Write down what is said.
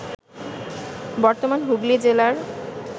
বর্তমান হুগলি জেলার